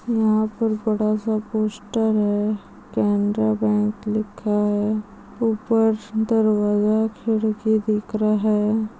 यहा पर बड़ा-सा पोस्टर है केनरा बैंक लिखा है ऊपर सेंटर है वे खिड़की दिख रही है।